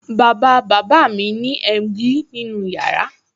Bàbá bàbá mi ní emgyl nínú yàrá